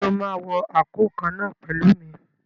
Ṣé o máa wọ àǹkóò kan náà pẹ̀lú mi?